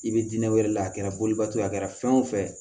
I bɛ diinɛ wɛrɛ la a kɛra boliba ye a kɛra fɛn o fɛn ye